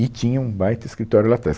E tinha um baita escritório lá trás.